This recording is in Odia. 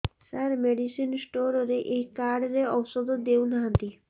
ସାର ମେଡିସିନ ସ୍ଟୋର ରେ ଏଇ କାର୍ଡ ରେ ଔଷଧ ଦଉନାହାନ୍ତି